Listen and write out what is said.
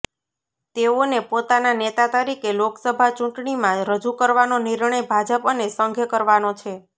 તેઓને પોતાના નેતા તરીકે લોકસભા ચૂંટણીમાં રજૂ કરવાનો નિર્ણય ભાજપ અને સંઘે કરવાનો છે